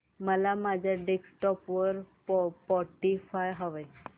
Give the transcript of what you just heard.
मला माझ्या डेस्कटॉप वर स्पॉटीफाय हवंय